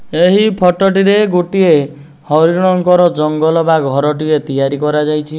ଏହି ଫଟୋ ଟି ରେ ଗୋଟିଏ ହରିଣଙ୍କର ଜଙ୍ଗଲ ବା ଘର ଟିଏ ତିଆରି କରାଯାଇଛି।